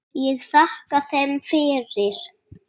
Ég þakkaði þeim fyrir.